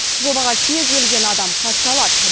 жобаға кез келген адам қатыса алады